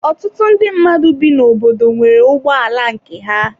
Ọtụtụ ndị mmadụ bi n'obodo nwere ụgbọ ala nke ha.